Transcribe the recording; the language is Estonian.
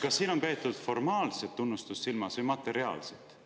" Kas siin on peetud silmas formaalset tunnustust või materiaalset?